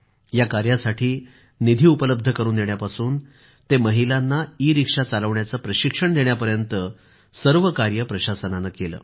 या कार्यासाठी निधी उपलब्ध करून देण्यापासून ते महिलांना ईरिक्षा चालवण्याचं प्रशिक्षण देण्यापर्यंत कार्य प्रशासनानं केलं